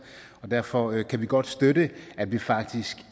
og derfor kan vi godt støtte at vi faktisk